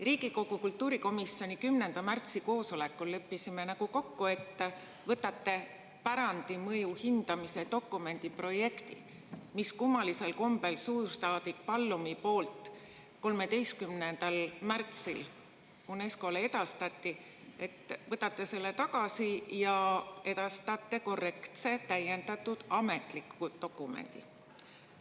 Riigikogu kultuurikomisjoni 10. märtsi koosolekul me leppisime nagu kokku, et te võtate tagasi pärandimõju hindamise dokumendi projekti, mis kummalisel kombel suursaadik Pallumi poolt 13. märtsil UNESCO‑le edastati, ning edastate korrektse ja täiendatud ametliku dokumendi.